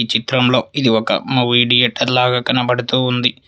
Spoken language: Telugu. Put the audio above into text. చిత్రంలో ఇది ఒక మ విడియేటర్ లాగా కనబడుతూ ఉంది.